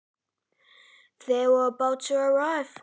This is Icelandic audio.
Þau hlutu að fara að koma.